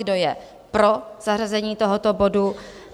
Kdo je pro zařazení tohoto bodu?